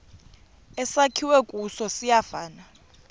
esakhiwe kuso siyafana